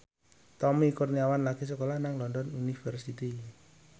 Tommy Kurniawan lagi sekolah nang London University